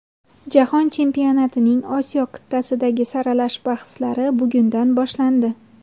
Jahon chempionatining Osiyo qit’asidagi saralash bahslari bugundan boshlandi.